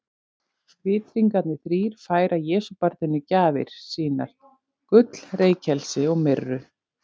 Vitringarnir þrír færa Jesúbarninu gjafir sínar, gull, reykelsi og myrru.